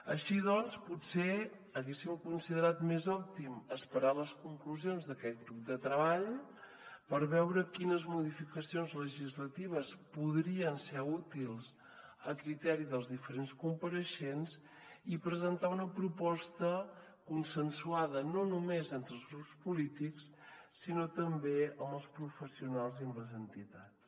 així doncs potser haguéssim considerat més òptim esperar les conclusions d’aquest grup de treball per veure quines modificacions legislatives podrien ser útils a criteri dels diferents compareixents i presentar una proposta consensuada no només entre els grups polítics sinó també amb els professionals i amb les entitats